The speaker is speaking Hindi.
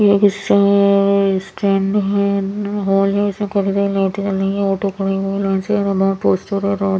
ये हिस्सा है अ व स्टैंड हैं हॉल हैं इसमें काफी सारे लाइटे जल रही हैं ऑटो खड़े हुए लेंसे --